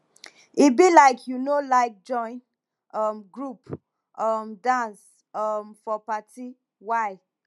e be like you no like join um group um dance um for party why